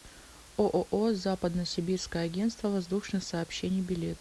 ооо западно сибирское агентство воздушных сообщений билет